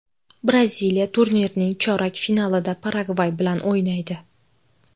Braziliya turnirning chorak finalida Paragvay bilan o‘ynaydi.